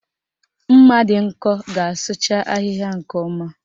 Mma dị nkọ ga-asụcha ahịhịa nke ọma